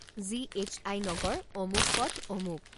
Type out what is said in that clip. G.H.I. নগৰ, অমুক পথ, অমুক